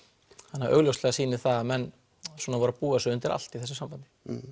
þannig að augljóslega sýnir það að menn voru að búa sig undir allt í þessu sambandi